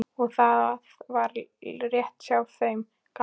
Og það var rétt hjá þeim gamla.